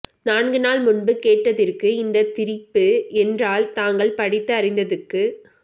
நான்கு நாள்முன்பு கேட்டதிற்கு இந்த திரிப்பு என்றால் தாங்கள் படித்து அறிந்ததுக்கு